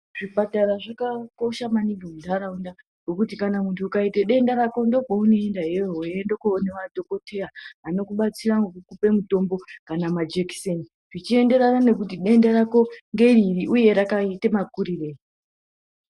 Zvipatara zvakakosha maningi munharaunda nekuti kana muntu ukaita denda rako ndokwaunoenda iyoyo weienda kundoona madhokodheya ano kubatsira nekukupa mutombo kana majekiseni zvichienderana kuti denda rako nderiri uye rakaita makurirei.